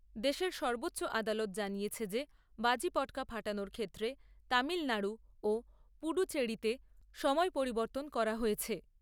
দেশের সর্বোচ্চ আদালত জানিয়েছে যে বাজি পটকা ফাটানোর ক্ষেত্রে তামিলনাড়ু ও পুডুচেরিতে সময় পরিবর্তন করা হয়েছে।